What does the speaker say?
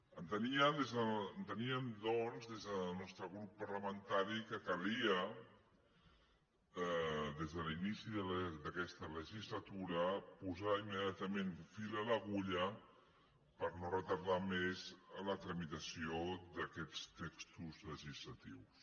enteníem doncs des del nostre grup parlamentari que calia des de l’inici d’aquesta legislatura posar immediatament fil a l’agulla per no retardar més la tramitació d’aquests textos legislatius